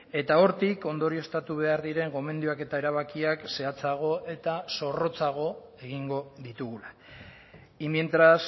eta hortik ondorioztatu behar diren gomendioak eta erabakiak zehatzago eta zorrotzago egingo ditugula y mientras